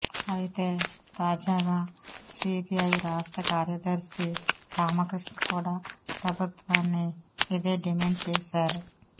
అయితే తాజాగా సీపీఐ రాష్ట్ర కార్యదర్శి రామకృష్ణ కూడా ప్రభుత్వాన్ని ఇదే డిమాండ్ చేశారు